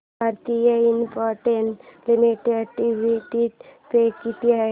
Bharti Infratel limited dividend pay किती आहे